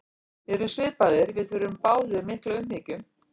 Við erum svipaðir, við þurfum báðir mikla umhyggju.